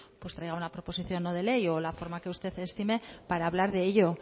pues traiga una proposición no de ley o la forma que usted estime para hablar de ello